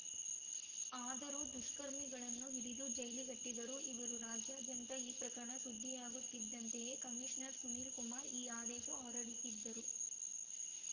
ಆದರೂ ದುಷ್ಕರ್ಮಿಗಳನ್ನು ಹಿಡಿದು ಜೈಲಿಗಟ್ಟಿದ್ದರು ಇವರು ರಾಜ್ಯದ್ಯಂತ ಈ ಪ್ರಕರಣ ಸುದ್ದಿಯಾಗುತ್ತಿದ್ದಂತೆಯೇ ಕಮೀಷನರ್‌ ಸುನೀಲ್‌ ಕುಮಾರ್‌ ಈ ಆದೇಶ ಹೊರಡಿಸಿದ್ದರು